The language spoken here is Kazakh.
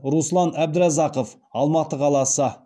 руслан әбдіразақов алматы қаласы